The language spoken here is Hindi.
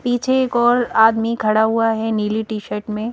पीछे एक और आदमी खड़ा हुआ है नीली टी_शर्ट में।